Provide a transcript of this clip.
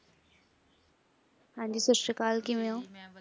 ਹਾਂਜੀ ਸਤਸ਼੍ਰੀਅਕਾਲ ਕਿਵੇਂ ਹੋਂ?